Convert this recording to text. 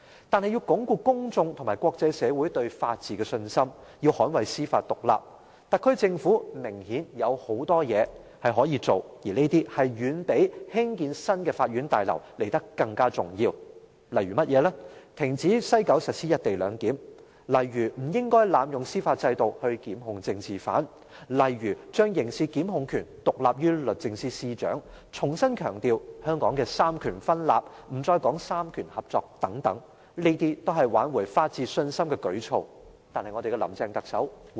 但是，要鞏固公眾和國際社會對法治的信心、要捍衞司法獨立，特區政府明顯有很多事情可做，而這些遠比興建新的法院大樓來得更重要，例如停止在西九龍站實施"一地兩檢"安排，例如不應濫用司法制度檢控政治犯，例如將刑事檢控權獨立於律政司司長，重新強調香港三權分立，不再說三權合作等，這都是挽回法治信心的舉措。